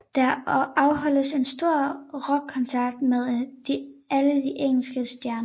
Der afholdes en stor rockkoncert med alle de engelske stjerner